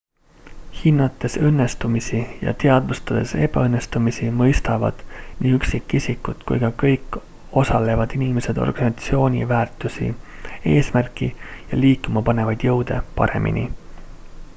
hinnates õnnestumisi ja teadvustades ebaõnnestumisi mõistavad nii üksikisikud kui ka kõik osalevad inimesed organisatsiooni väärtusi eesmärki ja liikumapanevaid jõude paremini